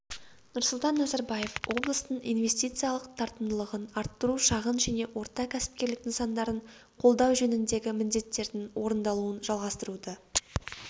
нұрсұлтан назарбаев облыстың инвестициялық тартымдылығын арттыру шағын және орта кәсіпкерлік нысандарын қолдау жөніндегі міндеттердің орындалуын жалғастыруды